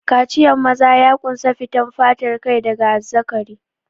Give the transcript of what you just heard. Kaciyan maza ya ƙunsa fitan fatar kai daga azzakari.